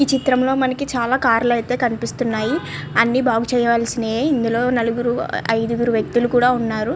ఈ చిత్రంలో మనకి చాలా కార్ లు అయితే కనిపిస్తున్నాయి. అన్ని బాగు చేయవలసినవి ఇందులో నలుగురు ఐదుగురు వ్యక్తులు కూడా ఉన్నారు.